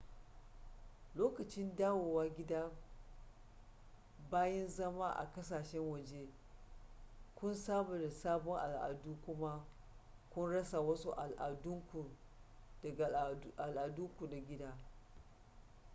lokacin dawowa gida bayan zama a ƙasashen waje kun saba da sabon al'adun kuma kun rasa wasu al'adunku daga al'adunku na gida